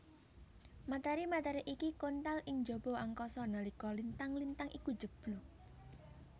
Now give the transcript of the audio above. Materi materi iki kontal ing njaba angkasa nalika lintang lintang iku njeblug